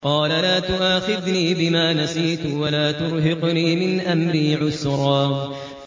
قَالَ لَا تُؤَاخِذْنِي بِمَا نَسِيتُ وَلَا تُرْهِقْنِي مِنْ أَمْرِي عُسْرًا